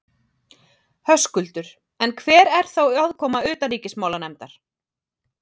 Höskuldur: En hver er þá aðkoma utanríkismálanefndar?